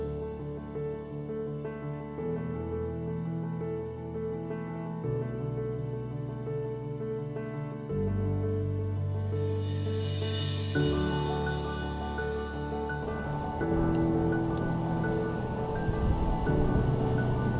Ağdam, Füzuli və Xocavənd rayonlarında Azərbaycan Respublikası Prezidentinin xüsusi nümayəndəsi Emin Hüseynov Qurbanqulu Berdiməmmədova 30 illik işğal dövründə Füzuli rayonunun ərazisində törədilən dağıntılar, vandalizm aktları, həmçinin şəhərin baş planına uyğun olaraq həyata keçirilən və görüləcək işlər barədə məlumat verdi.